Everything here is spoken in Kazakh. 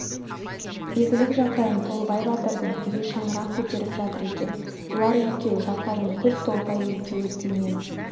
игілік жақайым толыбай батырдың үйі шаңырағын көтеріп жатыр екен бұлар екеу жақайым көп толыбай екеуі тілмен